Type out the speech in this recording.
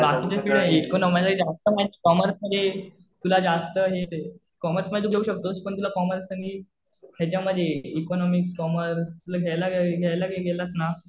बाकीच्या फिल्ड हे इतकं नाही माहित. जास्त माहित कॉमर्समध्ये तुला जास्त हे कॉमर्समध्ये तू घेऊ शकतोस पण तुला कॉमर्स आणि ह्याच्यामध्ये इकॉनॉमिक्स, कॉमर्स तुला घ्यायला गेलास ना